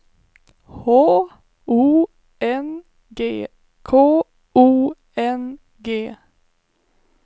H O N G K O N G